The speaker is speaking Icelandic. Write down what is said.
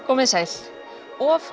komið þið sæl of